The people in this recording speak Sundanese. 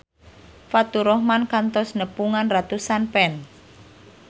Faturrahman kantos nepungan ratusan fans